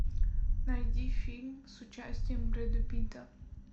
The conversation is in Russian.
найди фильм с участием брэда питта